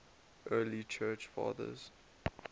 early church fathers